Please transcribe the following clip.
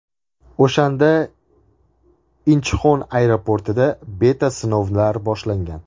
O‘shanda Inchxon aeroportida beta-sinovlar boshlangan.